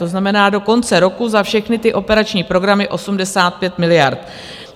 To znamená do konce roku za všechny ty operační programy 85 miliard.